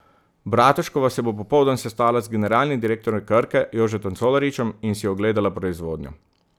Bratuškova se bo popoldan sestala z generalnim direktorjem Krke Jožetom Colaričem in si ogledala proizvodnjo.